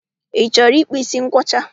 Ị chọrọ ịkpụ ísí nkwọcha?